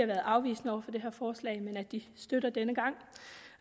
været afvisende over for det her forslag men at de støtter det denne gang